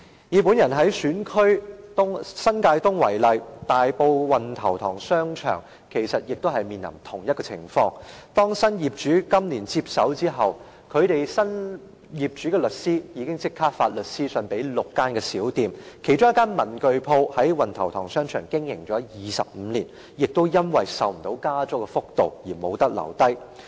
以我的選區新界東為例，大埔運頭塘商場亦面臨同一個情況，當新業主今年接手後，新業主的律師立即發律師信給6間小店，其中一間文具店在運頭塘商場經營了25年，因為負擔不了加租幅度而不能留下。